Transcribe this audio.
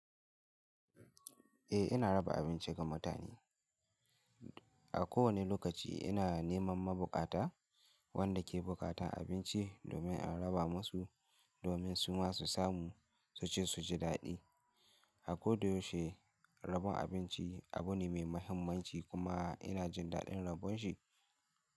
Eh ina raba abinci ga mutane. A kowane lokaci ina neman ma buƙata wanda ke buƙatan abinci domin in raba musu domin su ma su samu su ci su ji daɗi. A koyaushe rabon abinci abu ne mai mahimmanci kuma ina jin daɗin rabon shi.